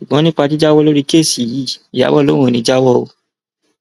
ṣùgbọn nípa jíjáwọ lórí kẹẹsì yìí ìyàbò lòun ò ní í jáwọ o